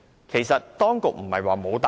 其實當局曾作出答覆。